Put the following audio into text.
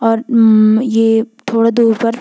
और ममम ये थोडा दूर पर --